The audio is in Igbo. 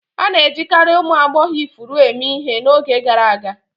A na-ejikarị ụmụ agbọghọ ifuru eme ihe n'oge gara aga.